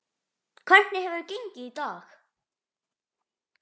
Hvernig hefur gengið í dag?